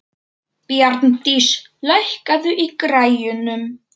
Bjarndís, lækkaðu í græjunum.